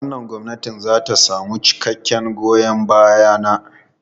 Wannan gwamnati za ta samu cikakken goyon baya na.